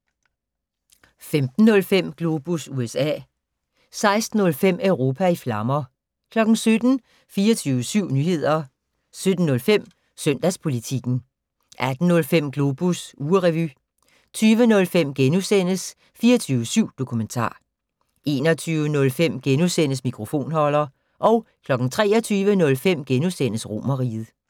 15:05: Globus USA 16:05: Europa i flammer 17:00: 24syv Nyheder 17:05: Søndagspolitikken 18:05: Globus ugerevy 20:05: 24syv Dokumentar * 21:05: Mikrofonholder * 23:05: Romerriget *